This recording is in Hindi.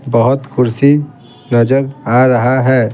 बहुत कुर्सी नजर आ रहा है।